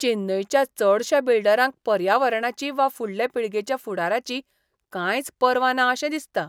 चेन्नयच्या चडशा बिल्डरांक पर्यावरणाची वा फुडले पिळगेच्या फुडाराची कांयच पर्वा ना अशें दिसता.